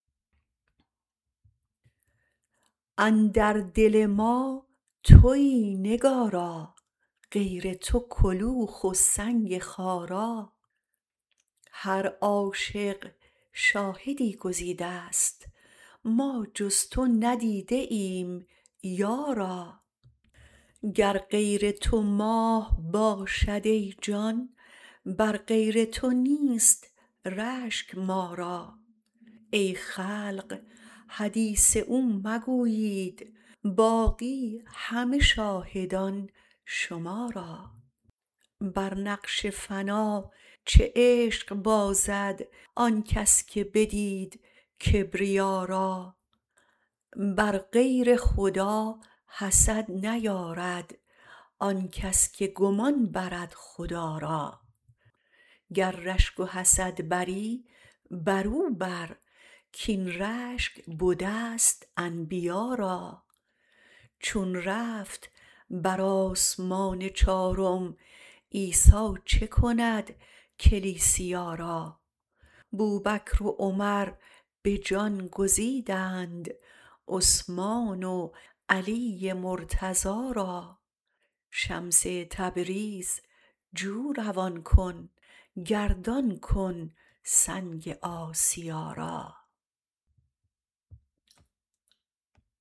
اندر دل ما توی نگارا غیر تو کلوخ و سنگ خارا هر عاشق شاهدی گزیدست ما جز تو ندیده ایم یارا گر غیر تو ماه باشد ای جان بر غیر تو نیست رشک ما را ای خلق حدیث او مگویید باقی همه شاهدان شما را بر نقش فنا چه عشق بازد آن کس که بدید کبریا را بر غیر خدا حسد نیارد آن کس که گمان برد خدا را گر رشک و حسد بری برو بر کاین رشک بدست انبیا را چون رفت بر آسمان چارم عیسی چه کند کلیسیا را بوبکر و عمر به جان گزیدند عثمان و علی مرتضا را شمس تبریز جو روان کن گردان کن سنگ آسیا را